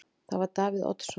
Það var Davíð Oddsson.